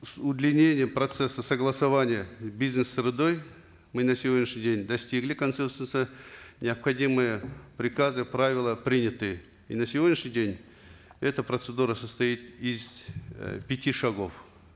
с удлинением процесса согласования с бизнес средой мы на сегодняшний день достигли консенсуса необходимые приказы правила приняты и на сегодняшний день эта процедура состоит из э пяти шагов